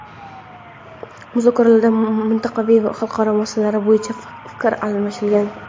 muzokaralarda mintaqaviy va xalqaro masalalar bo‘yicha ham fikr almashilgan.